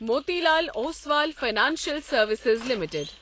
Motilal Oswal financial services limited